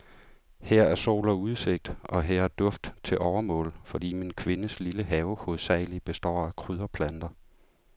Her er sol og udsigt, og her er duft til overmål, fordi min kvindes lille have hovedsagelig består af krydderplanter.